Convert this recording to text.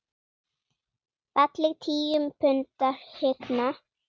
Falleg tíu punda hrygna.